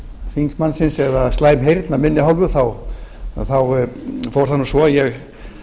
þingmannsins eða slæm heyrn af minni hálfu þá fór það nú svo að ég